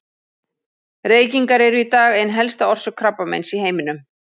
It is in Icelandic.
Reykingar eru í dag ein helsta orsök krabbameins í heiminum.